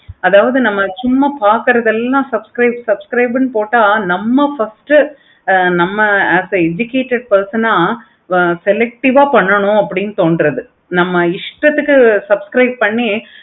அதாவது நம்ம ஜும்மா பார்க்குறது எல்லாம் subscribe னு போட்ட நம்ம first as a educated person ஆஹ் selective ஆஹ் பண்ணனும் அப்படின்னு தோன்றாது நம்ம இஷ்டத்துக்கு subscribe பண்ணி